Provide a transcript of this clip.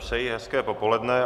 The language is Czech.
Přeji hezké popoledne.